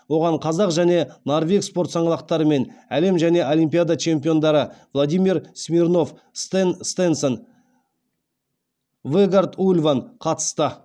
оған қазақ және норвег спорт саңлақтары мен әлем және олимпиада чемпиондары владимир смирнов стен стенсен вегард ульван қатысты